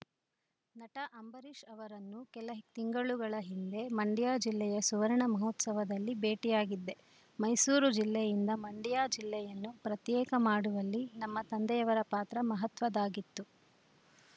ನಟ ಅಂಬರೀಷ್‌ ಅವರನ್ನು ಕೆಲ ತಿಂಗಳುಗಳ ಹಿಂದೆ ಮಂಡ್ಯ ಜಿಲ್ಲೆಯ ಸುವರ್ಣ ಮಹೋತ್ಸವದಲ್ಲಿ ಭೇಟಿಯಾಗಿದ್ದೆ ಮೈಸೂರು ಜಿಲ್ಲೆಯಿಂದ ಮಂಡ್ಯ ಜಿಲ್ಲೆಯನ್ನು ಪ್ರತ್ಯೇಕ ಮಾಡುವಲ್ಲಿ ನಮ್ಮ ತಂದೆಯವರ ಪಾತ್ರ ಮಹತ್ವದ್ದಾಗಿತ್ತು